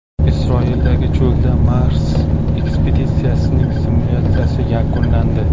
Isroildagi cho‘lda Mars ekspeditsiyasining simulyatsiyasi yakunlandi.